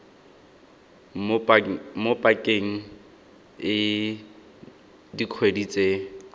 mo pakeng e dikgwedi tse